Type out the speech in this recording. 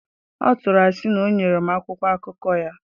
Ọ tụrụ asị na o nyere m akwụkwọ akụkọ ya.